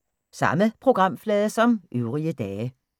Samme programflade som øvrige dage